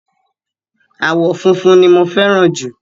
Àwọ̀ funfun ni mo fẹ́ràn jù.